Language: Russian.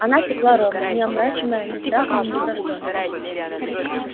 она текла ровно не омрачаемая ни страхами ни враждой